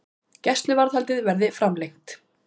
Gæsluvarðhaldið verði framlengt